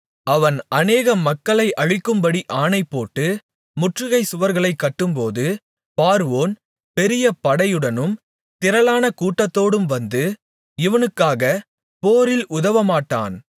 அவன் அநேக மக்களை அழிக்கும்படி அணைபோட்டு முற்றுகைச் சுவர்களைக் கட்டும்போது பார்வோன் பெரிய படையுடனும் திரளான கூட்டத்தோடும் வந்து இவனுக்காக போரில்உதவமாட்டான்